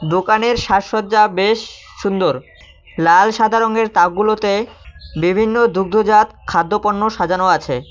দোকানের সাজসজ্জা বেশ সুন্দর লাল সাদা রঙের তাকগুলোতে বিভিন্ন দুদ্ধজাত খাদ্যপণ্য সাজানো আছে।